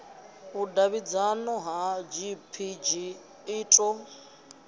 vhudavhidzano ya gpg i ḓo